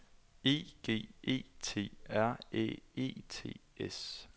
E G E T R Æ E T S